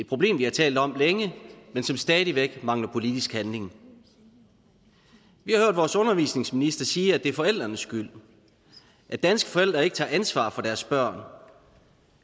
problem vi har talt om længe men som stadig væk mangler politisk handling vi har hørt vores undervisningsminister sige at det er forældrenes skyld at danske forældre ikke tager ansvar for deres børn